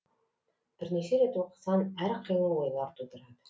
бірнеше рет оқысаң әр қилы ойлар тудырады